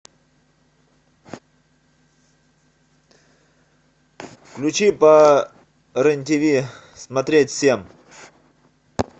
включи по рен тв смотреть всем